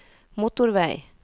motorvei